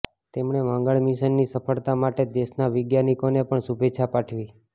તેમણે મંગળ મિશનની સફળતા માટે દેશના વૈજ્ઞાનિકોને પણ શુભેચ્છા પાઠવી